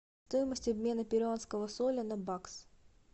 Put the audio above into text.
стоимость обмена перуанского соля на бакс